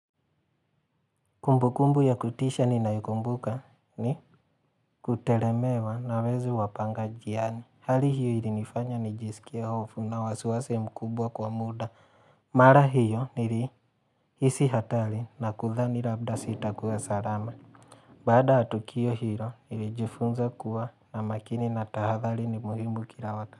Kumbukumbu ya kutisha ninayokumbuka ni kuteremewa na wezi wapanganjiani. Hali hiyo ilinifanya nijisikie hofu na wasiwasi mkubwa kwa muda. Mara hiyo nilihisi hatari na kuthani labda sitakua salama. Baada ya tukio hilo, nilijifunza kuwa na makini na tahadhali ni muhimu kila wakati.